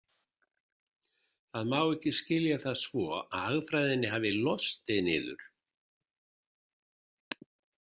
Það má ekki skilja það svo að hagfræðinni hafi lostið niður.